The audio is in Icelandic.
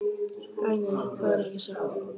Æ, nei, það er ekki satt.